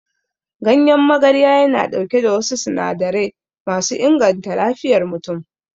Ganyen magarya yana ɗauke da wasu sinadarai masu inganta lafiyar mutum.